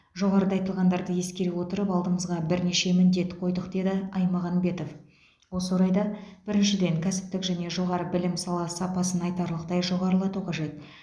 жоғарыда айтылғандарды ескере отырып алдымызға бірнеше міндет қойдық деді аймағамбетов осы орайда біріншіден кәсіптік және жоғары білім сапасын айтарлықтай жоғарылату қажет